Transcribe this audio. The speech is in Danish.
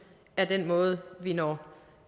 er den måde vi når